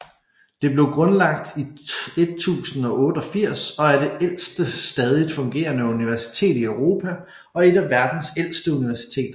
Det blev grundlagt i 1088 og er det ældste stadigt fungerende universitet i Europa og et af verdens ældste universiteteter